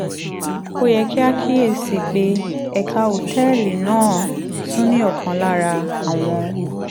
ó yẹ kí a kíyè sí i pé ẹ̀ka òtẹ́ẹ̀lì náà tún ní ọ̀kan lára àwọn